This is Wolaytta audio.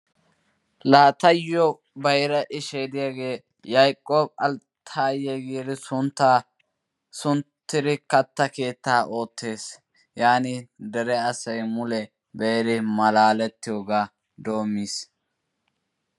Laa tayyo bayira ishay diyaagee Yayiqob Altaye giidi suntta sunttidi katta keettaa oottes. Yaanin dere asay mule be"iri malaalettiyoogaa doommis.